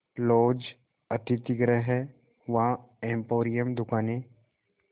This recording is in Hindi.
लॉज अतिथिगृह हैं वहाँ एम्पोरियम दुकानें